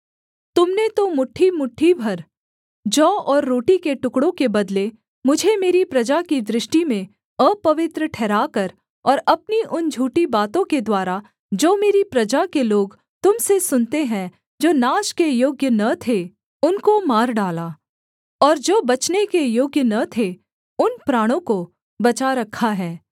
तुम ने तो मुट्ठीमुट्ठी भर जौ और रोटी के टुकड़ों के बदले मुझे मेरी प्रजा की दृष्टि में अपवित्र ठहराकर और अपनी उन झूठी बातों के द्वारा जो मेरी प्रजा के लोग तुम से सुनते हैं जो नाश के योग्य न थे उनको मार डाला और जो बचने के योग्य न थे उन प्राणों को बचा रखा है